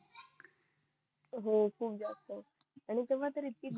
हो खूप जास्त आणि तेव्हा तर इतकी